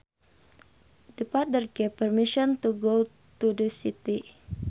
The father gave permission to go to the city